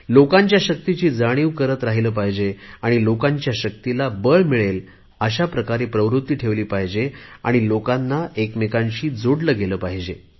लोकांच्या शक्तीची जाणीव करत राहिले पाहिजे आणि लोकांच्या शक्तीला बळ मिळेल अशाप्रकारे प्रवृत्ती ठेवली पाहिजे आणि लोकांना एकमेकांशी जोडले गेले पाहिजे